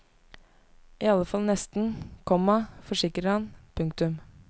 I alle fall nesten, komma forsikrer han. punktum